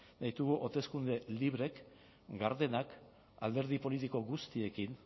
nahi ditugu hauteskunde libreak gardenak alderdi politiko guztiekin